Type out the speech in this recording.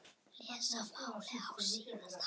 Leysa málin á sinn hátt.